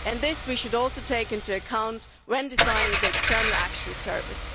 And this we should also take into account when designing the External Action Service.